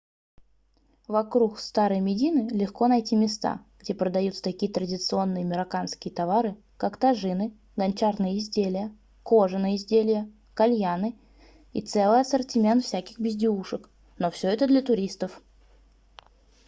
вокруг старой медины легко найти места где продаются такие традиционные марокканские товары как тажины гончарные изделия кожаные изделия кальяны и целый ассортимент всяких безделушек но всё это для туристов